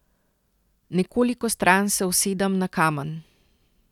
Nekoliko stran se usedem na kamen.